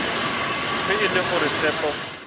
ge e le gore tshepo